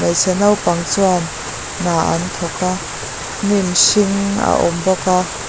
hmeichhe naupang chuan hna an thawk a hnim hring a awm bawk a.